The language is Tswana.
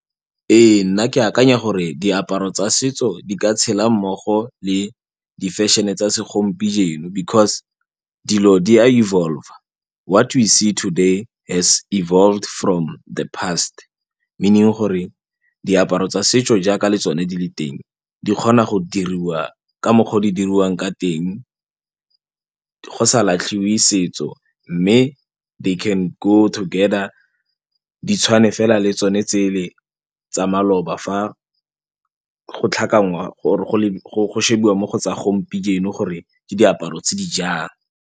E nna ke akanya gore diaparo tsa setso di ka tshela mmogo le di-fashion-e tsa segompieno because dilo di a evolve-a what we see today has evolved from the past meaning gore diaparo tsa setso jaaka le tsone di le teng di kgona go diriwa ka mokgwa o di diriwang ka teng go sa latlhiwe setso mme they can go together di tshwane fela le tsone tsele tsa maloba fa go tlhakanngwa or go shebiwa mo go tsa gompieno gore ke diaparo tse di jang.